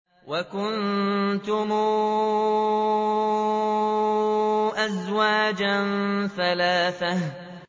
وَكُنتُمْ أَزْوَاجًا ثَلَاثَةً